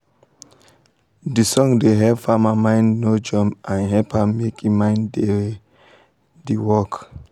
de song da help farma mind no jump and hep am make e mind da d work